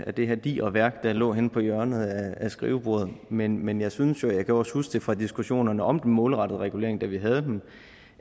af det her digre værk der lå henne på hjørnet af skrivebordet men men jeg synes jo og jeg kan også huske det fra diskussionerne om den målrettede regulering da vi havde dem